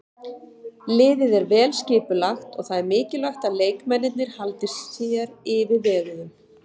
Liðið er vel skipulagt og það er mikilvægt að leikmennirnir haldi sér yfirveguðum.